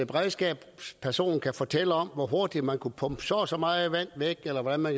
beredskabsperson kan fortælle om hvor hurtigt man kunne pumpe så og så meget vand væk eller hvordan man